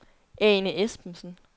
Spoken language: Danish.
Ane Espensen